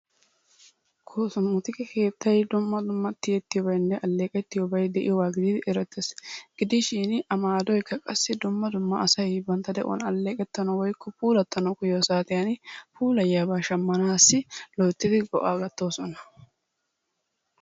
Kosmootike keettayi dumma dumma tiyettiyobaynne alleeqettiyobayi de'iyogaa gididi erettes. Gidishin a maadoykka qassi dumma dumma asayi bantta de'uwan alleeqettanawu puulattanawu koyyiyo saatiyan puulayiyabaa shammaanaassi loyttidi go'aa gattoosona.